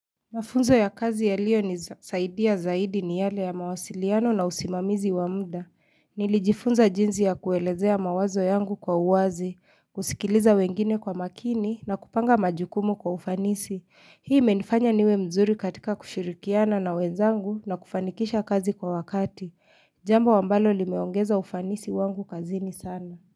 Mafunzo ya kazi yaliyo nisaidia zaidi ni yale ya mawasiliano na usimamizi wa mda. Nilijifunza jinsi ya kuelezea mawazo yangu kwa uwazi, kusikiliza wengine kwa makini na kupanga majukumu kwa ufanisi. Hii imenifanya niwe mzuri katika kushirikiana na wenzangu na kufanikisha kazi kwa wakati. Jambo ambalo limeongeza ufanisi wangu kazini sana.